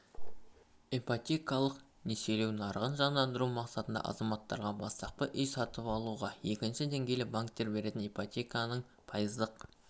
ипотекалық несиелеу нарығын жандандыру мақсатында азаматтарға бастапқы үй сатып алуға екінші деңгейлі банктер беретін ипотеканың пайыздық